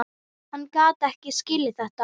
Hann gat ekki skilið þetta.